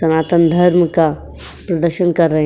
सनातन धर्म का दर्शन कर रहे --